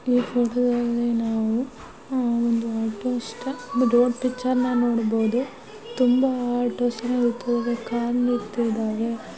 ಈ ಫೋಟೋದಲ್ಲಿ ನಾವು ಒಂದು ರೋಡ್ ಪಿಕ್ಚರ್ ನೋಡ್ಬಹುದು ತುಂಬಾ ಆಟೋಗಳಿವೆ.